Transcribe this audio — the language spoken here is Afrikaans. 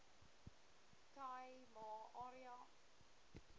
khai ma area